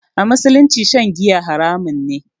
A musulunci shan giya haramun ne